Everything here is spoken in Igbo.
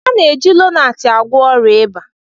A na-eji Lonart agwọ ọrịa ịba